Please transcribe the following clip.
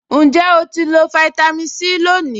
Ǹjẹ́ o ti lo fáítámì Sí lónìí?